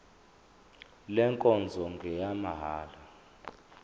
le nkonzo ngeyamahala